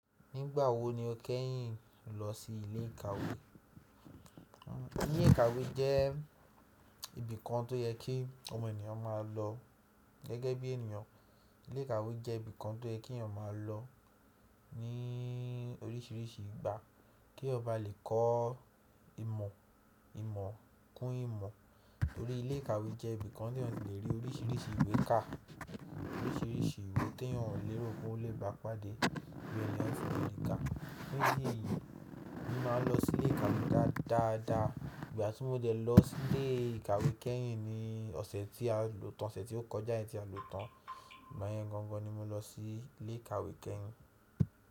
Nígbà wo ni o kẹ́yìn lọ sí ilé ìkàwé? Ilé ìkàwé jẹ́ ibìkan tó yẹ kí ọmọ ènìyàn máa lọ gẹ́gẹ́ bí ènìyàn. Ilé ìkàwé jẹ́ ibìkan tó yẹ kí ènìyàn máa lọ ní oríṣìíríṣìí ìgbà kí ọba lè kọ́ ìmọ̀, ìmọ̀ kún ìmọ̀. Torí ilé ìkàwé jẹ́ ibìkan tí ènìyàn le rí oríṣìíríṣìí ìwé kà, oríṣìíríṣìí ìwé tí ènìyàn o lérò pé ó le bá pàdé bí ènìyàn fi le kà. Fún ìdí yìí ni màá lọ sí ilé ìkàwé dáadáa. Ìgbà tí mo jẹ lọ sí ilé ìkàwé kẹ́yìn ni ọ̀sẹ̀ tí a lòtàn, ọ̀sẹ̀ tí ó kọjá yìí tí a lòtàn. Ìgbà yẹn gangan ni mo lọ sí ilé ìkàwé kẹ́yìn.